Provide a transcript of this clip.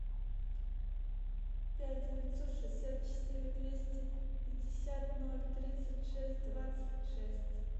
пять девятьсот шестьдесят четыре двести пятьдесят ноль тридцать шесть двадцать шесть